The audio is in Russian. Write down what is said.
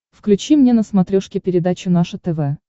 включи мне на смотрешке передачу наше тв